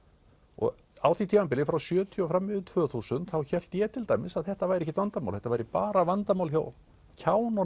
og á því tímabili frá sjötíu og fram yfir tvö þúsund þá hélt ég til dæmis að þetta væri ekkert vandamál þetta væri bara vandamál hjá